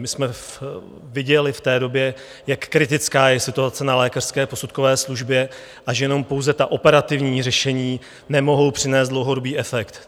My jsme viděli v té době, jak kritická je situace na lékařské posudkové službě a že jenom pouze ta operativní řešení nemohou přinést dlouhodobý efekt.